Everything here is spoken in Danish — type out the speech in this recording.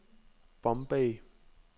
Bombay